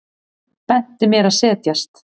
Benti mér að setjast.